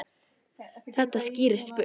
Ég skýst burt.